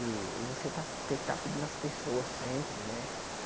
E e você estar ter que estar pedindo às pessoas sempre, né?